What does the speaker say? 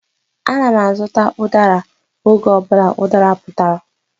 Ana m azụta udara oge ọ bụla udara putara.